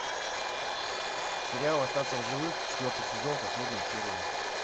сериал остаться в живых четвертый сезон последняя серия